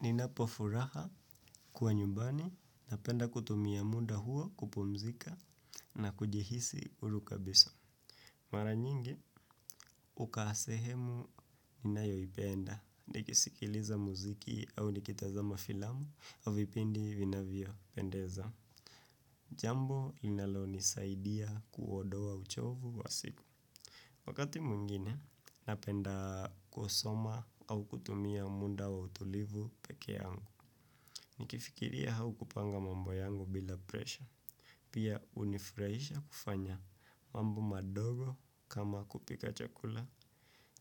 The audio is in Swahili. Ninapofuraha kwa nyumbani napenda kutumia muda huo kupumzika na kujihisi huru kabisa. Mara nyingi, hukaa sehemu ninayoipenda, nikisikiliza muziki au nikitazama filamu, au vipindi vinavyopendeza. Jambo inalonisaidia kuondoa uchovu wa siku. Wakati mwingine, napenda kusoma au kutumia muda wa utulivu pekee yangu. Nikifikiria haukupanga mambo yangu bila presha. Pia hunifuraisha kufanya mambo madogo kama kupika chakula,